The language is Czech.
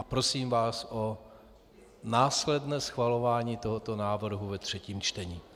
A prosím vás o následné schvalování tohoto návrhu ve třetím čtení.